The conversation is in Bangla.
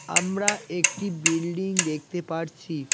আমরা একটি বিল্ডিং দেখতে পারছি।